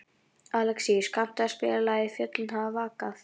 Alexíus, kanntu að spila lagið „Fjöllin hafa vakað“?